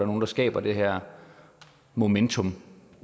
nogen der skaber det her momentum